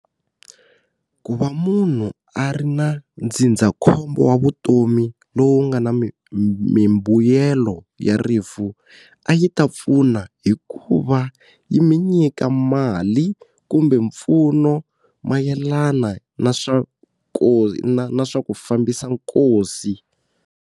Ku va munhu a ri na ndzindzakhombo wa vutomi lowu nga na mimbuyelo ya rifu, a yi ta pfuna hi ku va yi mi nyika mali kumbe mpfuno mayelana na swa ku na swa ku fambisa nkosi.